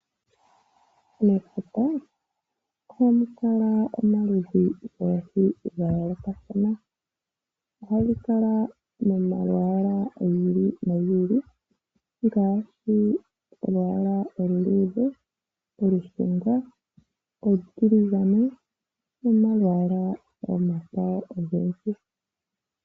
Mefuta, oha mu kala omaludhi goohi ga yoolokathana, oha dhi kala momalwaala gi ili no gi ili, ngaashi olwaala olu luudhe, olushunga, olutiligane, nomalwaala ogendji.